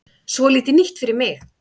Svolítið nýtt fyrir mig.